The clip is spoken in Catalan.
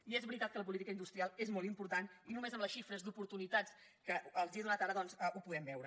i és veritat que la política industrial és molt important i només amb les xifres d’oportunitats que els he donat ara doncs ho podem veure